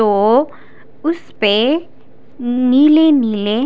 तो उस प नीले नीले--